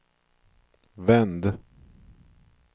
vänd